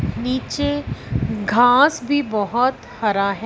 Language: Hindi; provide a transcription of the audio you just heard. नीचे घास भी बहोत हरा है।